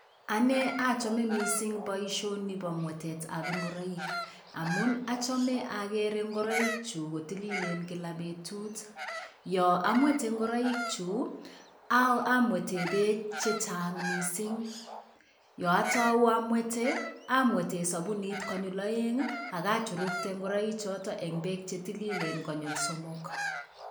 Ane achome mising boisioni bo mwetetab ingoroik, amun achame akere ngoroikyuk kotililen kila betut, yo amwete ngoroikyuk, amwete beek chechang mising, yo atau amwete, amwete sabunit konyil aeng ii ak achurukte ngoroik choto eng beek chetililen konyil somok.